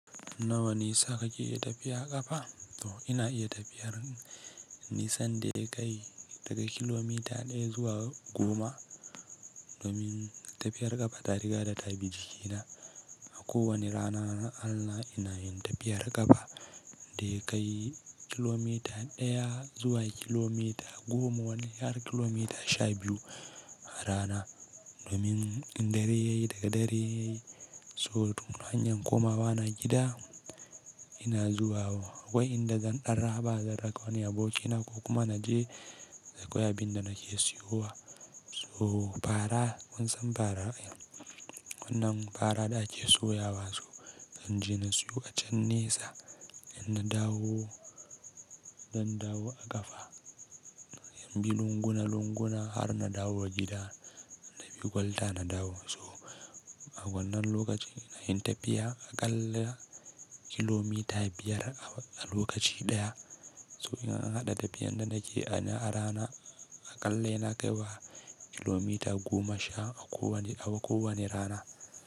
Nawa ne sa ka ke tafiyar ƙafa? To ina iya tafiyar nisan daya kai daga kilomita ɗaya zuwa goma. Domin tafiyar ƙafa, tariqa da ta lbi jikina a kowanne rana na Allah ina yin tafiyar ƙafa da kai kilomita ɗaya zuwa kilomita goma wani har kilomita sha biyu a rana. Domin in dare yayi daga dare yayi so duk hanyar komawa na gida ina zuwa. Akwai inda zan ɗan raba zan raka wani abokina ko kuma na je da akwai bin da nake siyowa. So fara kunsan fara wannan fara da ake soyawa so zan je na siyo a can nesa in na dawo, zan dawo a ƙafa. Zan bi lunguna lunguna har na dawo gida na bi kwalta na dawo. So a wannan lokaci ina yin tafiya aƙalla kilomita biyar a lokaci ɗaya. So in an haɗa tafiyan da nake a rana a ƙalla yana kai wa kilomita goma sha a kowane rana.